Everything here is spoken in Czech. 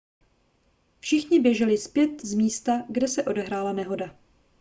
všichni běželi zpět z místa kde se odehrála nehoda